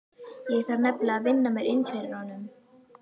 Ég þarf nefnilega að vinna mér inn fyrir honum.